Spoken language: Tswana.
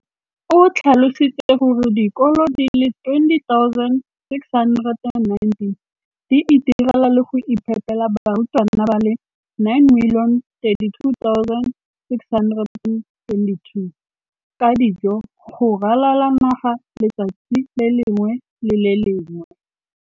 O tlhalositse gore dikolo di le 20 619 di itirela le go iphepela barutwana ba le 9 032 622 ka dijo go ralala naga letsatsi le lengwe le le lengwe.